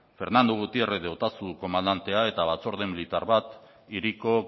fernando gutiérrez de otazu komandantea eta batzorde militar bat hiriko